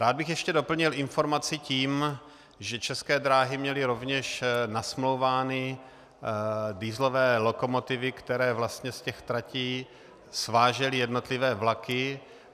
Rád bych ještě doplnil informaci tím, že České dráhy měly rovněž nasmlouvány dieselové lokomotivy, které vlastně z těch tratí svážely jednotlivé vlaky.